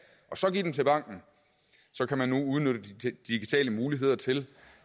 og så give dem til banken så kan man nu udnytte de digitale muligheder til